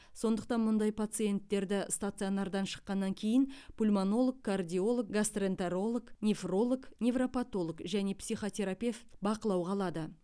сондықтан мұндай пациенттерді стационардан шыққаннан кейін пульмонолог кардиолог гастроэнтеролог нефролог невропатолог және психотерапевт бақылауға алады